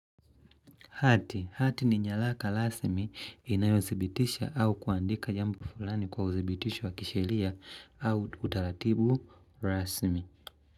Hati ni nyalaka lasmi inayozibitisha au kuandika jambo fulani kwa uzibitisho wa kishelia au utaratibu rasimi.